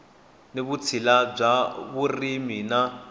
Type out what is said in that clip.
ni vutshila bya vurimi na